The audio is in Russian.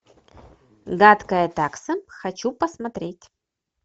гадкая такса хочу посмотреть